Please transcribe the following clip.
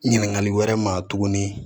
Ɲininkali wɛrɛ ma tuguni